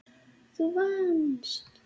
Þú vannst.